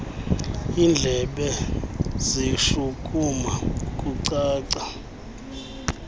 indlebe zishukuma kucaca